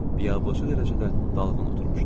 Biyabırçı dərəcədə dalğın oturmuşdu.